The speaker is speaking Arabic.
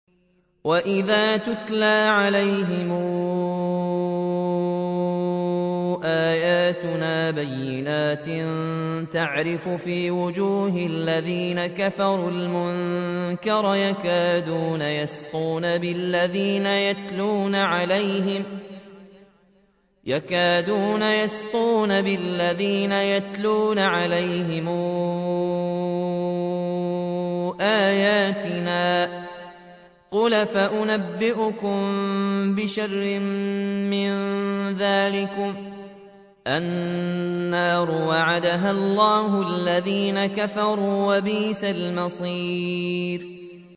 وَإِذَا تُتْلَىٰ عَلَيْهِمْ آيَاتُنَا بَيِّنَاتٍ تَعْرِفُ فِي وُجُوهِ الَّذِينَ كَفَرُوا الْمُنكَرَ ۖ يَكَادُونَ يَسْطُونَ بِالَّذِينَ يَتْلُونَ عَلَيْهِمْ آيَاتِنَا ۗ قُلْ أَفَأُنَبِّئُكُم بِشَرٍّ مِّن ذَٰلِكُمُ ۗ النَّارُ وَعَدَهَا اللَّهُ الَّذِينَ كَفَرُوا ۖ وَبِئْسَ الْمَصِيرُ